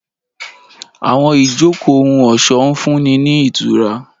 Àwọn ijoko ohun-ọṣọ ń funni ni itura.